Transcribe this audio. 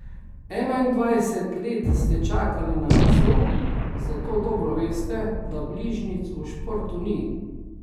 Enaindvajset let ste čakali na naslov, zato dobro veste, da bližnjic v športu ni.